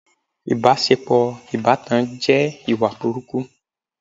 ìbáṣepọ̀ ìbátan jẹ́ ìwà burúkú.